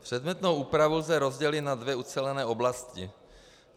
Předmětnou úpravu lze rozdělit na dvě ucelené oblasti.